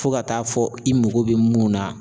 Fo ka taa fɔ i moko bɛ mun na